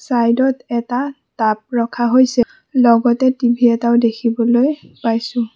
Side ত এটা tub ৰখা হৈছে লগতে টি_ভি এটাও দেখিবলৈ পাইছোঁ।